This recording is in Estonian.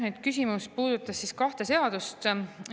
Nüüd, küsimus puudutas siis kahte seadust.